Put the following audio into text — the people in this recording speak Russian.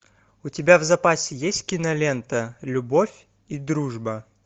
у тебя в запасе есть кинолента любовь и дружба